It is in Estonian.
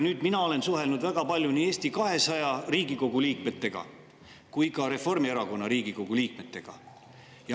Mina olen väga palju suhelnud nii Eesti 200 Riigikogu liikmetega kui ka Reformierakonna Riigikogu liikmetega.